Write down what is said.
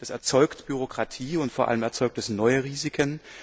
Das erzeugt Bürokratie, und vor allem erzeugt es neue Risiken.